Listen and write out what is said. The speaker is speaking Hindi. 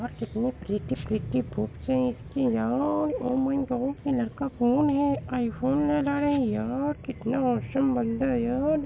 यह कितने प्रिटी प्रिटी बुक्स हैं इसकी यार ओ माय गॉड ये लड़का कौन है आई फोन यार कितना ऑसम बंदा है यार---